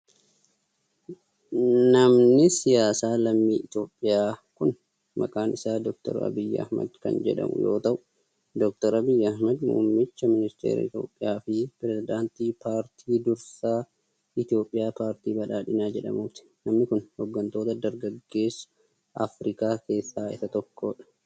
Namni siyaasaa lammii Itoophiyaa kun maqaan isaa Doktar Abiyyi Ahimad kan jedhamu yoo ta'u, Doktar Abiyyi Ahimad muummicha ministeeraa Itoophiyaa fi pireezidantii paartii dursaa Itoophiyaa paartii badhaadhinaa jedhamuuti. Namni kun, hooggantoota dargaggeessa Afriikaa keessaa isa tokkoo dha.